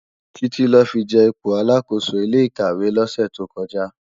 Titi lò fi je ipó àlákósó ilé ikàwé lòsè tókòjá